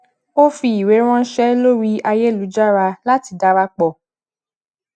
ó fi iwe ranse lori ayelujara lati darapọ